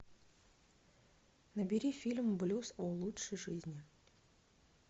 набери фильм блюз о лучшей жизни